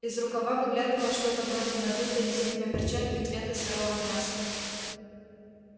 из рукава выглядывало что-то вроде надутой резиновой перчатки цвета сырого мяса